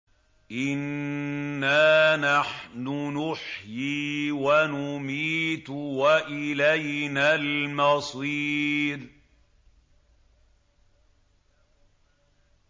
إِنَّا نَحْنُ نُحْيِي وَنُمِيتُ وَإِلَيْنَا الْمَصِيرُ